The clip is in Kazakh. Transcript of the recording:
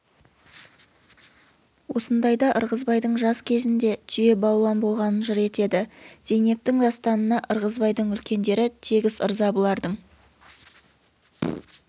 осындайда ырғызбайдың жас кезінде түйе балуан болғанын жыр етеді зейнептің дастанына ырғызбайдың үлкендері тегіс ырза бұлардың